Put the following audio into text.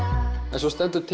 en svo stendur til